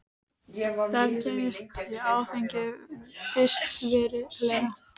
Þar kynntist ég áfengi fyrst verulega.